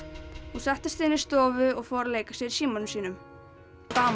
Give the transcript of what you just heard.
hún settist inn í stofu og fór að leika sér í símanum sínum